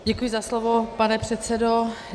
Děkuji za slovo, pane předsedo.